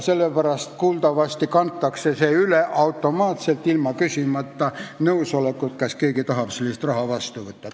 Sellepärast kuuldavasti kantakse see raha üle automaatselt, ilma küsimata, kas keegi tahab seda raha vastu võtta.